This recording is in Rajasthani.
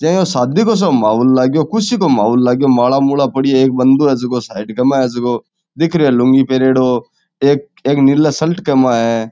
जे यो शादी को साे माहौल लागयो ख़ुशी काे माहौल लागयो माला मुला पड़ी है एक बन्दों है जको साइड के मा हे जको दिख रहियो है लुंगी पहरयोडो एक एक नीला शर्ट के मा है।